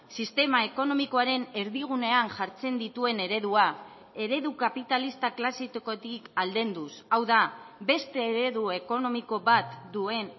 sistema ekonomikoaren erdigunean jartzen dituen eredua eredu kapitalista klasikotik aldenduz hau da beste eredu ekonomiko bat duen